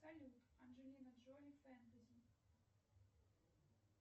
салют анджелина джоли фэнтези